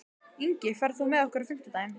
Ingi, ferð þú með okkur á fimmtudaginn?